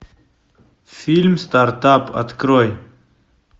фильм стартап открой